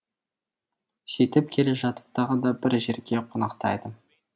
сөйтіп келе жатып тағы да бір жерге қонақтайды